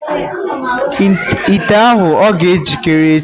Ite ahụ ọ ga njikere echi.